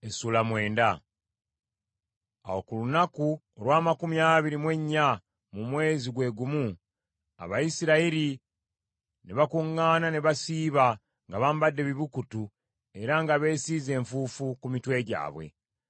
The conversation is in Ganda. Awo ku lunaku olw’amakumi abiri mu ennya mu mwezi gwe gumu, Abayisirayiri ne bakuŋŋaana ne basiiba, nga bambadde ebibukutu era nga beesiize enfuufu ku mitwe gyabwe.